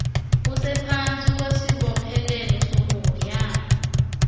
usephantsi kwesibophelelo sokuhoyana